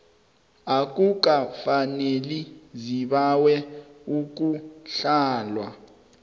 akukafaneli zibawe ukuhlolwa